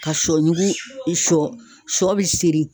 Ka sɔ ɲugu i sɔ sɔ bi seri